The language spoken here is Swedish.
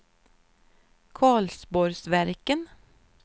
Karlsborgsverken